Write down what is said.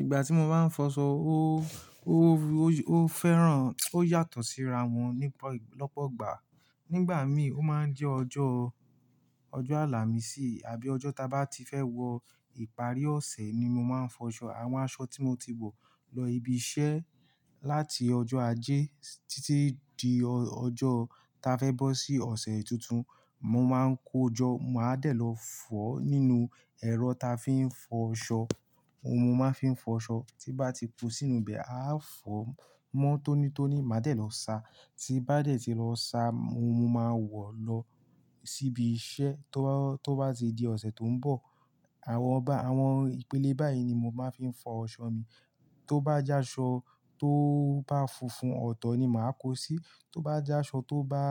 Ìgbà tí mo bá ń fọṣọ, ó, ó, ó, ó fẹ́ràn, ó yàtọ̀ sí ra wọn nípa lọ́pọ̀ igbà. Nígbà míí, ó máa ń jẹ́ ọjọ́, ọjọ́ àlàmísì àbí ọjọ́ ta bá ti fẹ́ wọ ìparí ọ̀sẹ̀ ni mo máa ń fọṣọ. Àwọn aṣọ tí mo ti wọ̀ lọ ibi iṣẹ́ láti ọjọ́ ajé títí di ọjọ́ ta fẹ́ bọ́ sí ọ̀sẹ̀ tuntun. Mo máa ń kojọ́, màá dẹ̀ lọ fọ́ nínú ẹ̀rọ ta fi ń fọṣọ. Ohun mo máa ń fi ń fọṣọ tí bá ti ko sínú ibẹ̀, a fọ mọ́ tónítóní, màá dẹ̀ lọ sa. Tí n bá dẹ̀ tí lọ sa, mo, mo máa wọ̀ lọ síbi iṣẹ́ tó bá, tó bá ti di ọ̀sẹ̀ tó ń bọ̀. Àwọn ọba, àwọn ìpele báyìí ni mo máa ń fi fọ aṣọ mi. Tó bá jẹ́ aṣọ tó bá funfun, ọ̀tọ̀ ni màá kó sí. Tó bá jẹ́ aṣọ tó bá,